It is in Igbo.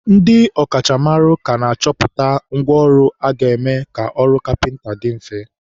ndị ọ kachamara ka na-achọpụta ngwa ọrụ ga-eme ka ọrụ kapịnta dị mfe.